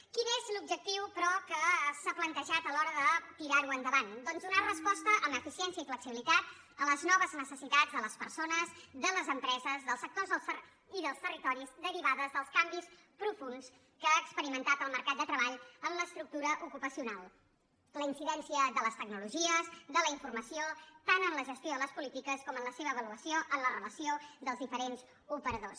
quin és l’objectiu però que s’ha plantejat a l’hora de tirar ho endavant doncs donar resposta amb eficiència i flexibilitat a les noves necessitats de les persones de les empreses dels sectors i dels territoris derivades dels canvis profunds que ha experimentat el mercat de treball en l’estructura ocupacional la incidència de les tecnologies de la informació tant en la gestió de les polítiques com en la seva avaluació en la relació dels diferents operadors